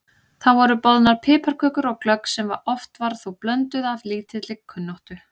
Þá voru boðnar piparkökur og glögg sem oft var þó blönduð af lítilli kunnáttu.